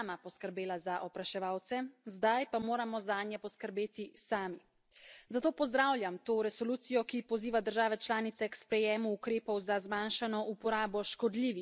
Zato pozdravljam to resolucijo, ki poziva države članice k sprejemu ukrepov za zmanjšano uporabo škodljivih pesticidov in k ustreznemu spremljanju populacij čebel.